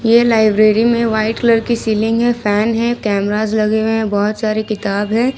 ये लाइब्रेरी में white colour की सीलिंग है फैन है कैमराज लगे हुए हैं बहुत सारे किताब हैं।